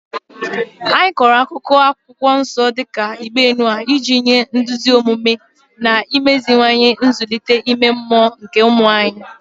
Anyị kọrọ akụkọ Akwụkwọ Nsọ dị ka Igbe Noa iji nye nduzi omume na imeziwanye nzụlite ime mmụọ nke ụmụ anyị.